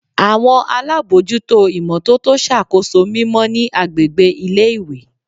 Awọn alabojuto imototo ṣakoso mimọ ni agbegbe ile-iwe